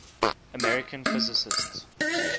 american physicists